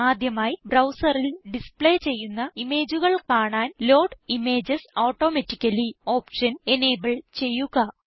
ആദ്യമായി ബ്രൌസറിൽ ഡിസ്പ്ലേ ചെയ്യുന്ന ഇമേജുകൾ കാണാൻ load images automatically option enable ചെയ്യുക